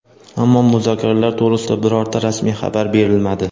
ammo muzokaralar to‘g‘risida birorta rasmiy xabar berilmadi.